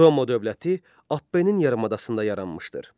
Roma dövləti Apnenin yarımadasında yaranmışdır.